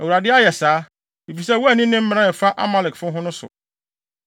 Awurade ayɛ saa, efisɛ woanni ne mmara a ɛfa Amalekfo ho no so.